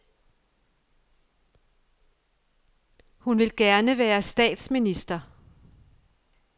Hun vil gerne være statsminister.